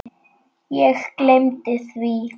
Ég gleymdi því.